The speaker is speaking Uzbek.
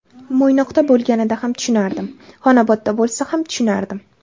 Mo‘ynoqda bo‘lganida ham tushunardim, Xonobodda bo‘lsa ham tushunardim.